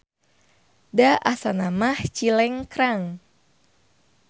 Da asana mah Cilengkrang.